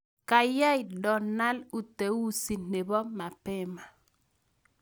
kayai donald uteuzi nebo mapema